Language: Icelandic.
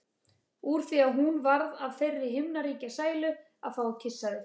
Úr því að hún varð af þeirri himnaríkissælu að fá að kyssa þig.